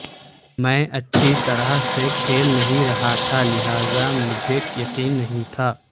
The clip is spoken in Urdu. میں اچھی طرح سے کھیل نہیں رہا تھا لہذا مجھے یقین نہیں تھا